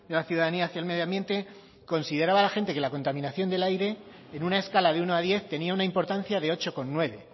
la ciudadanía hacia el medio ambiente consideraba la gente que la contaminación del aire en una escala de uno a diez tenía una importancia de ocho coma nueve